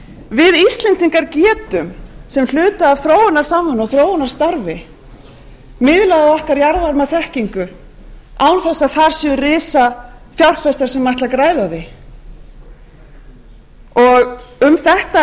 við íslendingar getum sem hluta af þróunarsamvinnu og þróunarstarfi miðlað af okkar jarðvarmaþekkingu án þess að þar séu risafjárfestar sem ætla að græða á því um